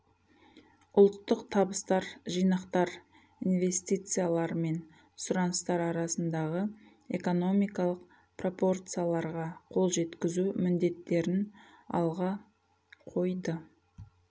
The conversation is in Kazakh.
ұлттық табыстар жинақтар инвестициялар мен сұраныстар арасындағы экономикалық пропорцияларға қол жеткізу міндеттерін алға қойды